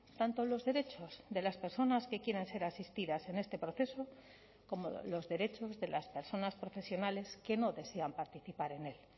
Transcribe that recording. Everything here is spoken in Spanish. tanto los derechos de las personas que quieren ser asistidas en este proceso como los derechos de las personas profesionales que no desean participar en el